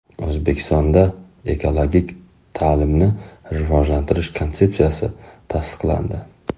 O‘zbekistonda Ekologik ta’limni rivojlantirish konsepsiyasi tasdiqlandi.